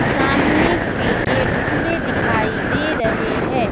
सामने के गेट खुले दिखाई दे रहे हैं।